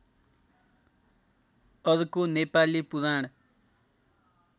अर्को नेपाली पुराण